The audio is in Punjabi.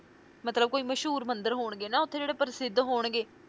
ਮਤਲਬ ਕੋਈ ਮਸ਼ਹੂਰ ਮੰਦਿਰ ਹੋਣਗੇ ਨਾ ਉੱਥੇ ਜਿਹੜੇ ਪ੍ਰਸਿੱਧ ਹੋਣਗੇ।